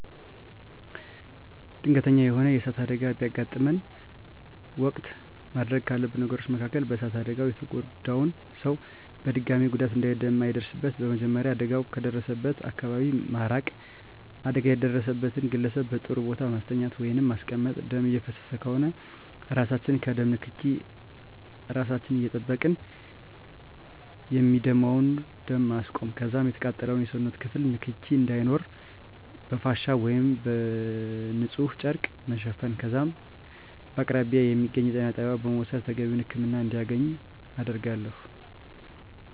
ድንገተኛ የሆነ የእሳት አደጋ በሚያጋጥመን ወቅት ማድረግ ካሉብን ነገሮች መካከል በእሳት አደጋው የተጎዳውን ሰው በድጋሚ ጉዳት እንዳይደርስበት በመጀመሪያ አደጋው ከደረሰበት አካባቢ መራቅ አደጋ የደረሰበትን ግለሰብ በጥሩ ቦታ ማስተኛት ወይንም ማስቀመጥ ደም እየፈሰሰ ከሆነ እራሳችን ከደም ንክኬ እራሳችን እየጠበቅን የሚደማውን ደም ማስቆም ከዛም የተቃጠለውን የሰውነት ክፍል ንክኪ እንዳይኖር በፍሻ ወይም ንፁህ ጨርቅ መሸፈን ከዛም በከአቅራቢያ የሚገኝ የጤና ጣቢያ በመውሰድ ተገቢውን ህክምና እንዲያገኝ አደርጋለሁ።